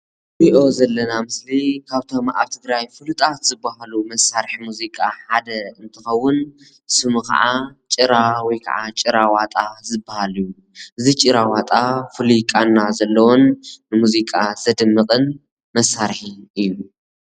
እዚ እንሪኦ ዘለና ምስሊ ካብቶም ኣብ ትግራይ ፍሉጣት ዝባሃሉ መሳርሑ ሙዚቃ ሓደ እንትከውን፣ ስሙ ከዓ ጭራ ወይ ከዓ ጭራዋጣ ዝባሃል እዩ፣ እዚ ጭራዋጣ ፍሉይ ቃና ዘለዎን ንሙዚቃ ዘድምቅን መሳርሒ እዩ፡፡